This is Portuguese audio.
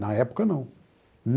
Na época, não.